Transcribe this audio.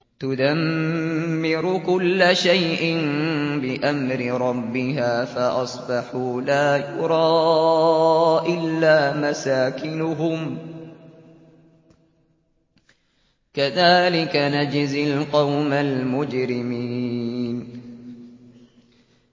تُدَمِّرُ كُلَّ شَيْءٍ بِأَمْرِ رَبِّهَا فَأَصْبَحُوا لَا يُرَىٰ إِلَّا مَسَاكِنُهُمْ ۚ كَذَٰلِكَ نَجْزِي الْقَوْمَ الْمُجْرِمِينَ